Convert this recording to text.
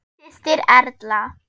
Þín systir, Erla.